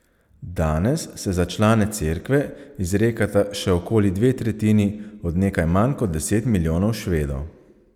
Danes se za člane cerkve izrekata še okoli dve tretjini od nekaj manj kot deset milijonov Švedov.